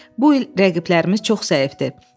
Bu il rəqiblərimiz çox zəifdir.